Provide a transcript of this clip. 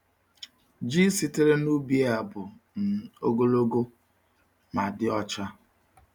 Ji sitere n’ubi a bụ um ogologo ma dị ọcha.